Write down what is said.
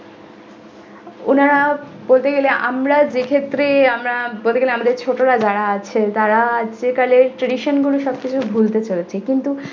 ওনারা বলতে গেল আমরা যে ক্ষেত্রে আমরা বলতে গেলে আমাদের ছোটরা যারা আছেন তারা সেকালের tradition গুলো সবকিছু ভুলতে চলেছেন কিন্তু।